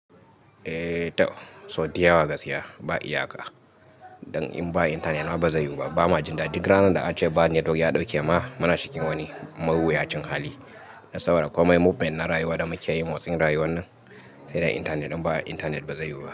Eh toh! Sau di yawa gaskiya, ba iyaka. Dan in ba intanet ma ba zai yiwu ba. Ba na jin daɗi. Duk ranar da an ce ba network ya ɗauke ma, na shiga wani mawuyacin hali. Na tsawara komai movement na rayuwa da makiyayin motsin rayuwan nan. Sai dai intanet, idan ba intanet ba zai yiwu ba.